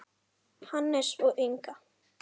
Hannes og Inga.